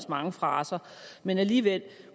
mange fraser men alligevel